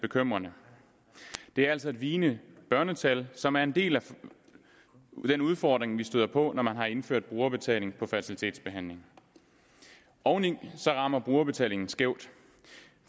bekymrende det er altså et vigende børnetal som er en del af den udfordring vi støder på når man har indført brugerbetaling på fertilitetsbehandling oveni rammer brugerbetalingen skævt